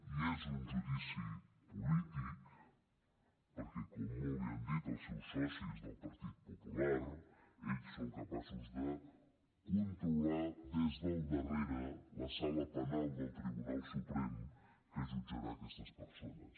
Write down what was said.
i és un judici polític perquè com molt bé han dit els seus socis del partit popular ells són capaços de controlar des del darrere la sala penal del tribunal suprem que jutjarà aquestes persones